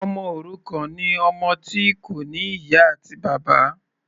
Ọmọ òrukàn ni ọmọ tí kò ní ìyá àti bàbá.